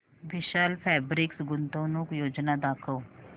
विशाल fabrics गुंतवणूक योजना दाखव